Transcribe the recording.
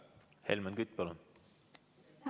Helmen Kütt, palun!